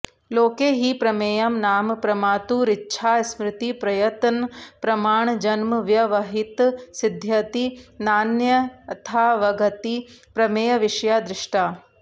लोके हि प्रमेयं नाम प्रमातुरिच्छास्मृतिप्रयत्नप्रमाणजन्मव्यवहितं सिद्ध्यति नान्यथावगतिः प्रमेयविषया दृष्टा